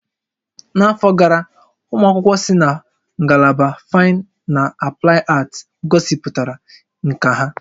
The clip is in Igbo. N'afọ gara, ụmụ akwụkwọ si na ngalaba Faịn na Aplaịd Aat gosipụtara nkà ha.